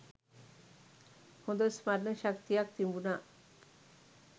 හොඳ ස්මරණ ශක්තියක් තිබුනා.